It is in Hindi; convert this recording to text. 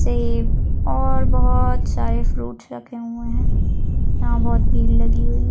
सेब और बहुत सारे फ्रूट्स रखे हुए है यहाँ बहुत भीड लगी हुई है।